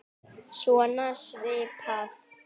Svona svipað.